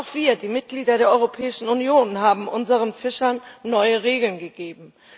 Auch wir, die Mitglieder der Europäischen Union, haben unseren Fischern neue Regeln gegeben.